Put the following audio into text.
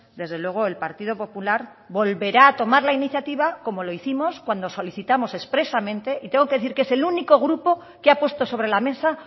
desde luego el partido popular volverá a tomar la iniciativa como lo hicimos cuando solicitamos expresamente y tengo que decir que es el único grupo que apuesto sobre la mesa